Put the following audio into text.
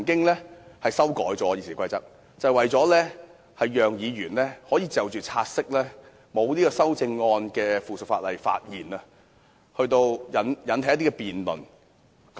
原因是《議事規則》曾經作出修訂，讓議員可就察悉沒有修正案的附屬法例發言，藉以引起一些辯論。